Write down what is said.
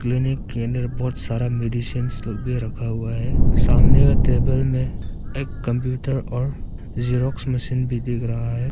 दैनिक केंद्र बहुत सारा मेडिसिंस भी रखा हुआ है सामने का टेबल में एक कंप्यूटर और जेरॉक्स मशीन भी दिख रहा है।